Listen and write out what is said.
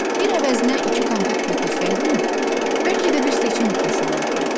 Bir əvəzinə iki konfet götürsəydim, bəlkə də bir seçim etmiş olardım.